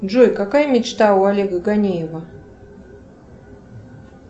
джой какая мечта у олега ганеева